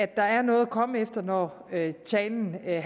der er noget at komme efter når talen er